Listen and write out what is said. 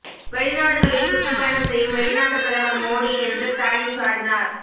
வெளிநாடுகளில் சுற்றுப்பயணம் செய்யும் வெளிநாட்டு பிரதமர் மோடி என்று ஸ்டாலின் சாடினார்